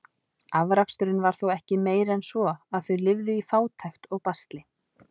Afraksturinn var þó ekki meiri en svo, að þau lifðu í fátækt og basli.